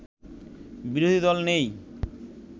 বিরোধী দল নেই